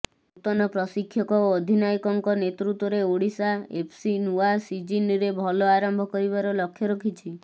ନୂତମ ପ୍ରଶିକ୍ଷକ ଓ ଅଧିନାୟକଙ୍କ ନେତୃତ୍ବରେ ଓଡ଼ିଶା ଏଫ୍ସି ନୂଆ ସିଜିନ୍ରେ ଭଲ ଆରମ୍ଭ କରିବାର ଲକ୍ଷ୍ୟ ରଖିଛି